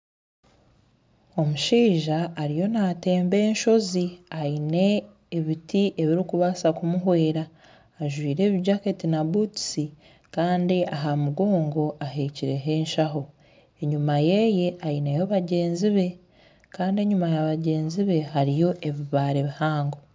Omushaija ariyo natemba enshoozi aine ebiti ebirikubaasa kumuhwera ajwaire ebijaketi na butusi Kandi aha mugongo ahekireho enshaho enyuma ye aineho bagyenzi be Kandi enyuma ya bagyenzi be hariyo ebibaare bihango